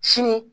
Sini